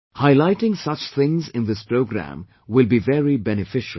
Highlighting such things in this programme will be very beneficial